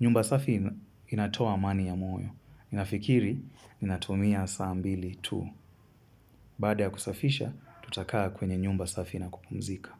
Nyumba safi inatoa mani ya moyo. Ninafikiri, ninatumia saa mbili tu. Baada ya kusafisha, tutakaa kwenye nyumba safi na kupumzika.